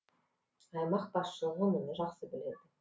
аймақ басшылығы мұны жақсы біледі